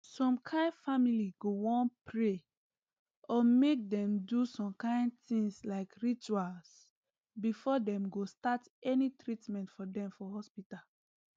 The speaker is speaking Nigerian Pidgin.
some kain family go wan pray or mk dem do some kain things like rituals before dem go start any treatment for dem for hospital